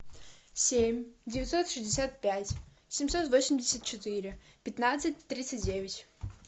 семь девятьсот шестьдесят пять семьсот восемьдесят четыре пятнадцать тридцать девять